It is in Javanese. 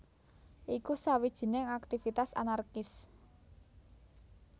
Iku sawijining aktivitas anarkis